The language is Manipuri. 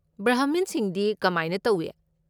ꯕ꯭ꯔꯍꯃꯤꯟꯁꯤꯡꯗꯤ ꯀꯃꯥꯏꯅ ꯇꯧꯏ?